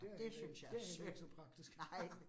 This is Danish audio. Og det synes jeg er synd. Nej